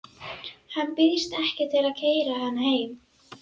Hann býðst ekki til að keyra hana heim.